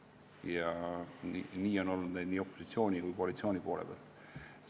Neid inimesi on olnud nii opositsiooni kui ka koalitsiooni poole pealt.